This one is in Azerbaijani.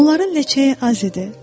Onların ləçəyi az idi.